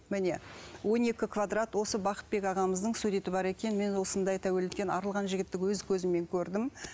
міне он екі квадрат осы бақытбек ағамыздың суреті бар екен мен осындай тәуелділіктен арылған жігітті өз көзіммен көрдім